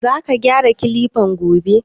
Za ka gyara Kilifan gobe?